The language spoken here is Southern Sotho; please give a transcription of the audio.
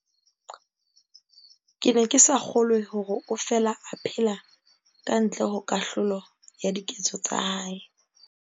"Ke ne ke sa kgolwe hore o fela a phela ka ntle ho kahlolo ya diketso tsa hae."